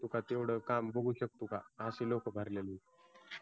तेवढं काम बघू शकतो का अशी लोक भरलेलीत हो बरोबर